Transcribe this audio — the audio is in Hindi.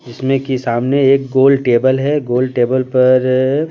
जिसमें की सामने एक गोल टेबल है गोल टेबल पर --